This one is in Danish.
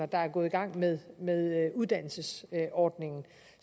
der er gået i gang med med uddannelsesordningen